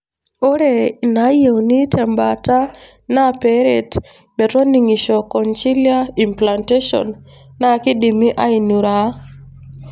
Ore inayieuni tembaata na peret metoningisho, cochlear implantation na kindimi ainuraa.